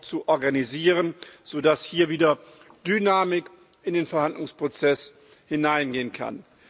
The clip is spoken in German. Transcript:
zu organisieren, so dass hier wieder Dynamik in den Verhandlungsprozess hineingelangen kann.